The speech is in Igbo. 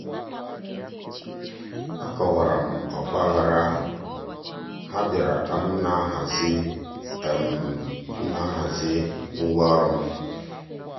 akọwara m ọgbaghara ahụ—ha bịara ka m na-ahazi m na-ahazi ngwa ọrụ m.